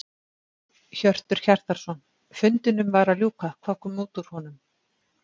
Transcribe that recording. Hjörtur Hjartarson: Fundinum var að ljúka, hvað kom út úr honum?